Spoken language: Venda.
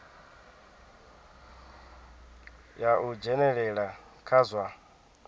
ya u dzhenelela kha zwa